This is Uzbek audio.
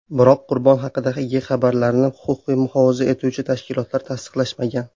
Biroq qurbon haqidagi xabarni huquqni muhofaza etuvchi tashkilotlar tasdiqlashmagan.